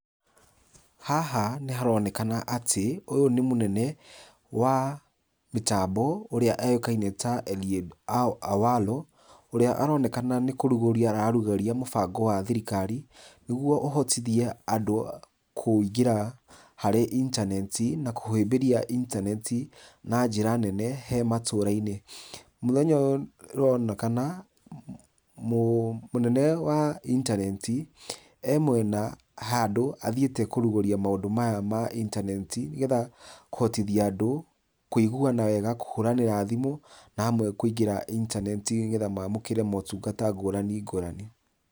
Haha nĩ haronekana atĩ, ũyũ nĩ mũnene wa mĩtambo, ũrĩa ũĩkaine ta Eliud Awalo ũrĩa aronekana nĩ kũrugũria ararugũria mũbango wa thirikari, nĩguo ũhotithie andũ kũingĩra harĩ intaneti na kũhĩmbĩria intaneti na njĩra nene he matũũra-inĩ. Mũthenya ũyũ nĩ ũronekana, mũnene wa intaneti, ee mwena handũ athiĩte kũrugũria maũndũ maya ma intaneti, nĩgetha kũhotithia andũ, kũiguana wega kũhũranĩra thimũ, na amwe kũingĩra intaneti nĩgetha maamũkĩre motungata ngũrani ngũrani.